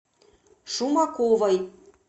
шумаковой